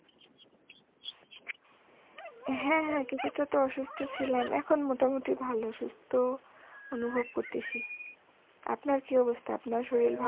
হ্যাঁ হ্যাঁ কিছুটাতো অসুস্থ ছিলাম এখন মোটামুটি ভালো সুস্থ অনুভব করতেছি আপনার কি অবস্থা আপনার শরীর ভালো